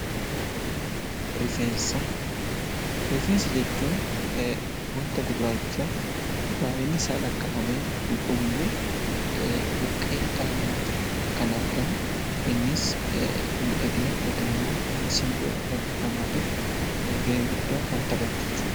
Rifeensa Rifeensa jechuun waanta gurraacha baayyinni isaa lakkaa'amee hin dhumne buqqee dhala namaa irratti kan argamu innis miidhagina yookiin immoo simboo dhala namaatiif gahee guddaa kan taphatudha.